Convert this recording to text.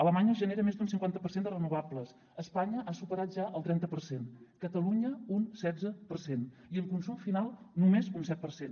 alemanya genera més d’un cinquanta per cent de renovables espanya ha superat ja el trenta per cent catalunya un setze per cent i en consum final només un set per cent